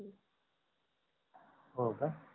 होका